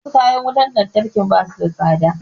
Wasu kayan wutar lantarki ba su da tsada